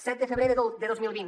set de febrer de dos mil vint